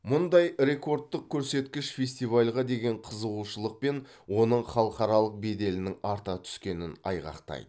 мұндай рекордтық көрсеткіш фестивальға деген қызығушылық пен оның халықаралық беделінің арта түскенін айғақтайды